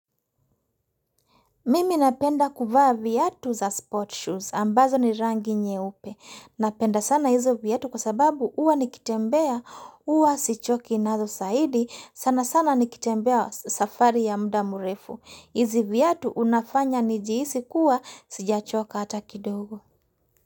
Mimi napenda kuvaa viatu za sport shoes ambazo ni rangi nyeupe. Napenda sana hizo viatu kwa sababu huwa nikitembea, huwa sichoki nazo zaidi, sana sana nikitembea safari ya mda mrefu. Hizi viatu unafanya nijihisi kuwa sijachoka hata kidogo.